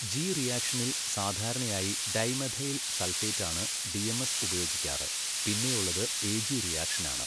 G റിയാക്ഷനിൽ സാധാരണയായി dimethyl സൾഫേറ്റാണ് ഡിഎംഎസ് ഉപയോഗിക്കാറ് പിന്നെയുളളത് എജി റിയാക്ഷനാണ്.